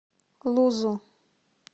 лузу